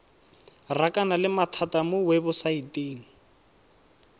rakana le mathata mo webosaeteng